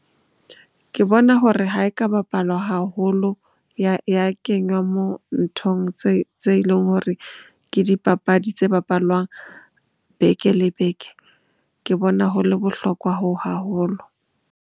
Ke bona hore ha e ka bapalwa haholo ya kenywa moo nthong tse leng hore ke dipapadi tse bapalwang beke le beke. Ke bona ho le bohlokwa hoo haholo.